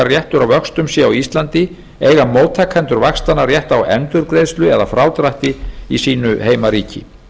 á vöxtum sé á íslandi eiga móttakendur vaxtanna rétt á endurgreiðslu eð frádrætti í sínu heimaríki